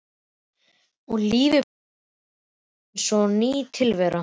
Og lífið brosti við mér eins og ný tilvera.